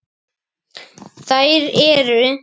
Þeir eru